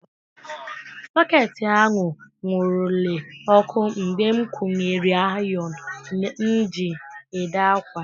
Soketị ahụ nwurule ọkụ mgbe m kwunyere ayon m ji ede ákwà.